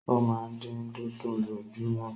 O máa n din dùndún lojumọ.